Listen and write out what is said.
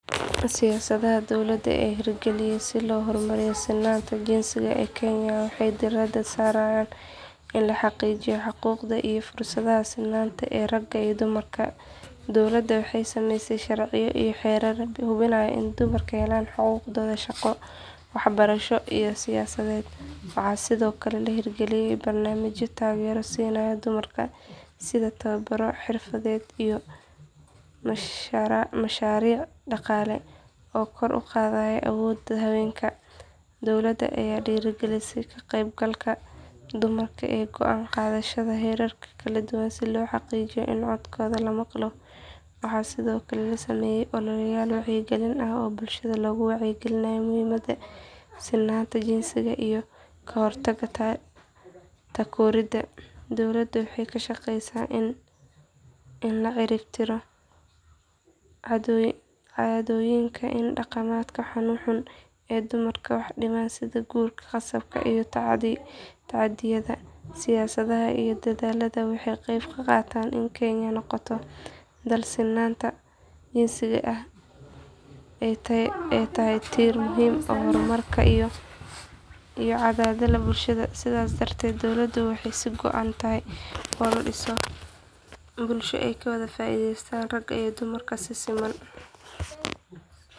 Siyaasadaha dowladda ee la hirgaliyay si loo hormariyo sinnaanta jinsiga ee Kenya waxay diiradda saarayaan in la xaqiijiyo xuquuqda iyo fursadaha sinnaanta ee ragga iyo dumarka. Dowladda waxay sameysay sharciyo iyo xeerar hubinaya in dumarku helaan xuquuqdooda shaqo, waxbarasho iyo siyaasadeed. Waxaa sidoo kale la hirgaliyay barnaamijyo taageero siinaya dumarka sida tababarro xirfadeed iyo mashaariic dhaqaale oo kor u qaada awoodda haweenka. Dowladda ayaa dhiirrigelisa ka qaybgalka dumarka ee go’aan qaadashada heerarka kala duwan si loo xaqiijiyo in codkooda la maqlo. Waxaa sidoo kale la sameeyay ololeyaal wacyigelin ah oo bulshada looga wacyi gelinayo muhiimada sinnaanta jinsiga iyo ka hortagga takoorida. Dowladda waxay ka shaqeysaa in la cirib tiro caadooyinka iyo dhaqamada xunxun ee dumarka wax u dhimaya sida guurka qasabka ah iyo tacaddiyada. Siyaasadahan iyo dadaalladan waxay ka qayb qaataan in Kenya noqoto dal sinnaanta jinsiga ay tahay tiir muhiim u ah horumarka iyo cadaaladda bulshada. Sidaas darteed, dowladdu waxay ka go’an tahay in la dhiso bulsho ay ka wada faa’iidaystaan ragga iyo dumarka si siman.